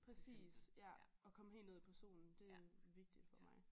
Præcis ja og komme helt ned i personen det vigtigt for mig